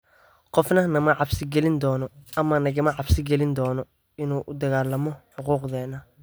Qofna nama cabsi gelin doono ama nagama cabsi gelin doono inaan u dagaalanno xuquuqdeena.